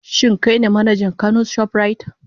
Shin kai ne manajan Kano shoprite?